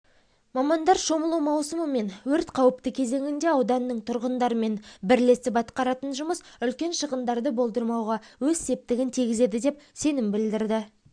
мамандар шомылу маусымы мен өрт қауіпті кезеңінде ауданның тұрғындарымен бірлесіп атқаратын жұмыс үлкен шығындарды болдырмауға өз септігін тигізеді деп сенім білдірді